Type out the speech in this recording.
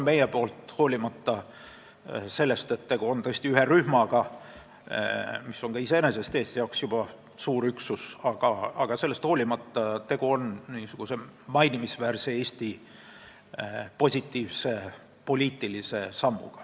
Hoolimata sellest, et tegu on tõesti ühe rühmaga, mis on iseenesest Eesti jaoks juba suur üksus, on see mainimisväärne ja positiivne Eesti poliitiline samm.